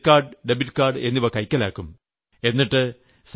താങ്കളുടെ credit card debit card എന്നിവ കൈക്കലാക്കും